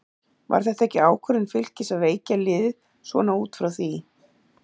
Var þetta ekki ákvörðun Fylkis að veikja liðið svona út frá því?